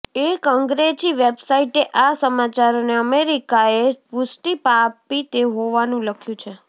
એક અંગ્રેજી વેબસાઈટે આ સમાચારોને અમેરિકાએ પુષ્ટિ આપી હોવાનું લખ્યું છે